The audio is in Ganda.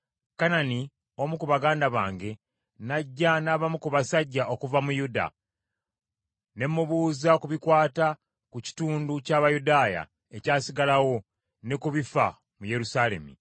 Kanani, omu ku baganda bange, n’ajja n’abamu ku basajja okuva mu Yuda, ne mubuuza ku bikwata ku kitundu ky’Abayudaaya ekyasigalawo, ne ku bifa mu Yerusaalemi.